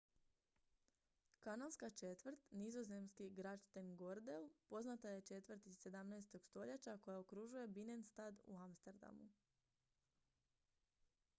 kanalska četvrt nizozemski: grachtengordel poznata je četvrt iz 17. stoljeća koja okružuje binnenstad u amsterdamu